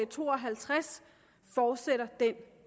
to og halvtreds fortsætter den